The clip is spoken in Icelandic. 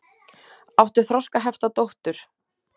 Áttu þroskahefta dóttur?